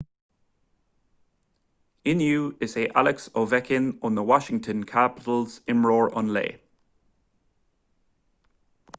inniu is é alex ovechkin ó na washington capitals imreoir an lae